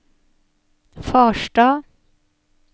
Farstad